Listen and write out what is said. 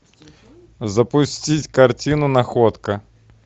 запустить картину находка